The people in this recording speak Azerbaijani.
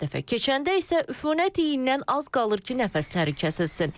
Hər dəfə keçəndə isə üfunət iyindən az qalır ki, nəfəsləri kəsilsin.